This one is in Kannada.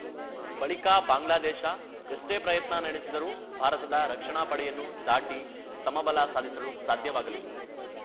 ಬಳಿಕ ಬಾಂಗ್ಲಾದೇಶ ಎಷ್ಟೇ ಪ್ರಯತ್ನ ನಡೆಸಿದರೂ ಭಾರತದ ರಕ್ಷಣಾ ಪಡೆಯನ್ನು ದಾಟಿ ಸಮಬಲ ಸಾಧಿಸಲು ಸಾಧ್ಯವಾಗಲಿಲ್ಲ